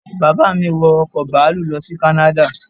Bàbá mi wọ ọkọ̀ bàálù lọ sí kánáda